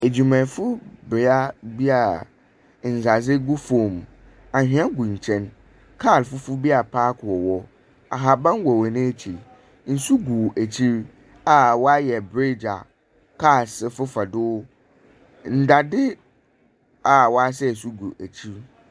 Edwumayɛfo bea bi a ndadze gu famu, anhwea gu nkyɛn, kaa fufuw bi apaake wɔ hɔ, ahaban wɔ hɔn ekyir, nsu gu ekyir a wɔayɛ bridge a cars fefa do, ndadze a wɔasɛɛ so gu ekyir.